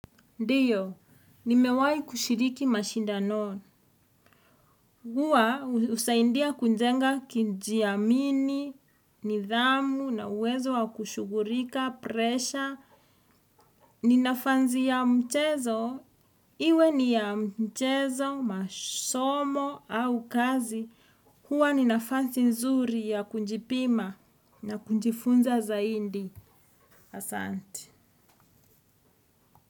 Ndiyo, nimewai kushiriki mashindanon. Hua husaindia kunjenga kinjiamini, nidhamu, na uwezo wa kushugurika, presha. Ninafanzi ya mchezo, iwe ni ya mchezo, masomo, au kazi. Hua ninafanzi nzuri ya kunjipima na kunjifunza zaindi. Asante.